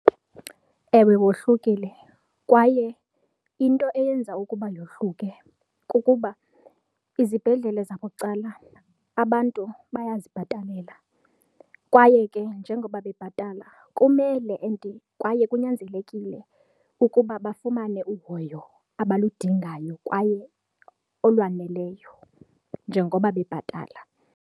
Ewe, wohlukile kwaye into eyenza ukuba yohluke kukuba izibhedlele zabucala abantu bayazibhatalela kwaye ke njengoba bebhatala kumele and kwaye kunyanzelekile ukuba bafumane uhoyo abaludingayo kwaye olwaneleyo njengoba bebhatala.